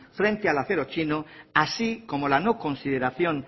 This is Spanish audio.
frente al acero chino así como la no consideración